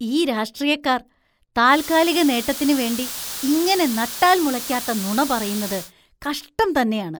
ഈ രാഷ്ട്രീയക്കാര്‍ താല്‍കാലികനേട്ടത്തിന് വേണ്ടി ഇങ്ങനെ നട്ടാല്‍ മുളയ്ക്കാത്ത നുണ പറയുന്നത് കഷ്ടം തന്നെയാണ്.